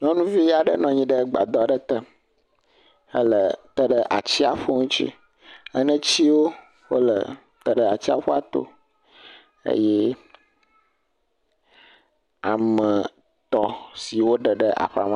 Nyɔnuvi aɖe nɔ anyi ɖe gbadɔ aɖe te hele te ɖe atsiaƒu ŋuti, enetiwo ele te ɖe atsiaƒu to eye ame etɔ̃ siwo ɖeɖe aƒa m.